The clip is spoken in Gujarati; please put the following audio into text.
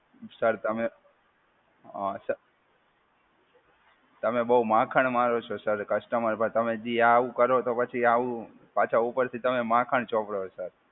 સર, તમે અ સર તમે બહુ માખણ મારો છો સર. કસ્ટમર પર તમે જે આવું કરો છો પછી આવું પાછા ઉપરથી તમે માખણ ચોપડો છો.